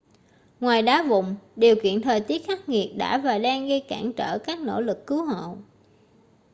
ngoài đá vụn điều kiện thời tiết khắc nghiệt đã và đang gây cản trở các nỗ lực cứu hộ